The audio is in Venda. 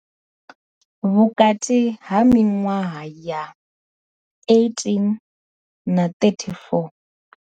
Vhukati ha miṅwaha ya 18 na 34.